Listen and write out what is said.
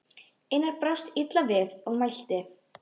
Einar brást illa við og mælti